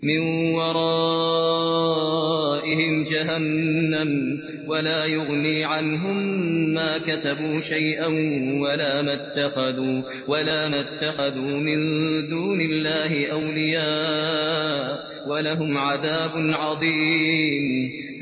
مِّن وَرَائِهِمْ جَهَنَّمُ ۖ وَلَا يُغْنِي عَنْهُم مَّا كَسَبُوا شَيْئًا وَلَا مَا اتَّخَذُوا مِن دُونِ اللَّهِ أَوْلِيَاءَ ۖ وَلَهُمْ عَذَابٌ عَظِيمٌ